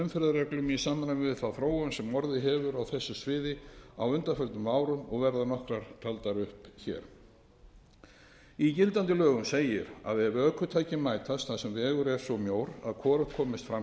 umferðarreglum í samræmi við þá þróun sem orðið hefur á þessu sviði á undanförnum árum og verða nokkrar taldar upp hér í gildandi lögum segir að ef ökutæki mætast þar sem vegur er svo mjór að hvorugt kemst fram